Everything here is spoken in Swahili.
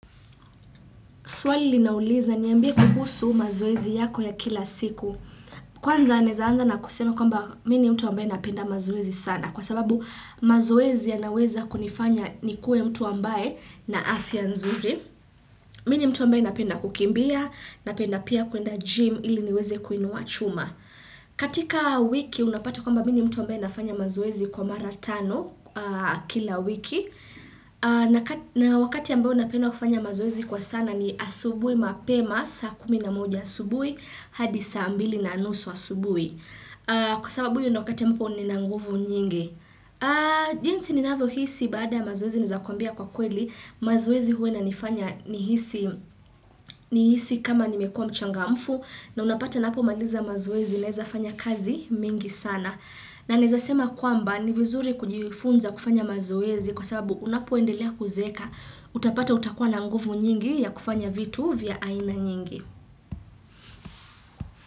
Swali linauliza, "Niambie kuhusu mazoezi yako ya kila siku". Kwanza anaweza anza na kusema, mimi ni mtu ambaye napenda mazoezi sana. Kwa sababu mazoezi yanaweza kunifanya niwe mtu ambaye ana afya nzuri. Mimi ni mtu ambaye napenda kukimbia, napenda pia kuenda gym ili niweze kuinua chuma. Katika wiki unapata kwamba mimi mtu ambaye nafanya mazoezi kwa mara tano kila wiki. Na wakati ambao napenda kufanya mazoezi kwa sana ni asubuhi mapema saa kumi na moja asubuhi hadi saa mbili na nusu asubuhi. Kwa sababu hiyo ndiyo wakati ambapo nina nguvu nyingi. Jinsi ninavyohisi baada mazoezi naweza kwambia kwa kweli, mazoezi huwa inanifanya nihisi nihisi kama nimekuwa mchangamfu na unapata napo maliza mazoezi naweza fanya kazi mingi sana. Na naweza sema kwamba ni vizuri kujifunza kufanya mazoezi kwa sababu unapoendelea kuzeeka utapata utakuwa na nguvu nyingi ya kufanya vitu vya aina nyingi.